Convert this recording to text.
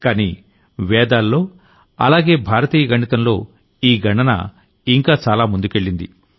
కానీ వేదాల్లో అలాగే భారతీయ గణితంలో ఈ గణన ఇంకా చాలా ముందుకెళ్లింది